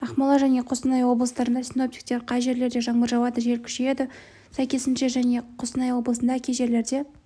ақмола және қостанай облыстарында синоптиктер қай жерлерде жаңбыр жауады жел күшейеді сәйкесінше және қостанай облысында кей жерлерде